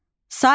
Saitlər: